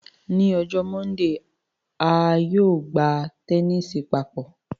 Ni ọjọ Mọndee, a yóò gba tẹnisi papọ